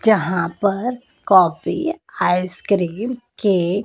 जहां पर coffee ice cream cake --